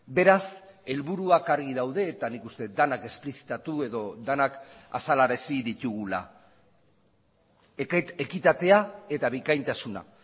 beraz helburuak argi daude eta nik uste dut denak esplizitatu edo denak azalarazi ditugula ekitatea eta bikaintasuna